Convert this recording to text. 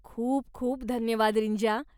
खूप खूप धन्यवाद रींजा.